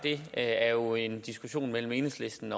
er jo en diskussion mellem enhedslisten